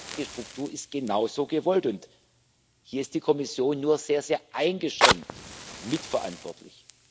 Die rechtliche Struktur ist genau so gewollt, und hier ist die Kommission nur sehr, sehr eingeschränkt mitverantwortlich.